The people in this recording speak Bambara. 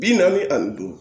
Bi naani ani duuru